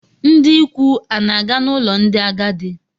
Ndị ikwu ana-aga n'ụlọ ndị agadi?